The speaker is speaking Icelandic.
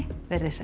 verið þið sæl